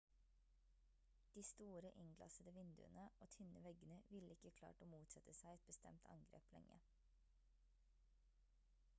de store innglassede vinduene og tynne veggene ville ikke klart å motsette seg et bestemt angrep lenge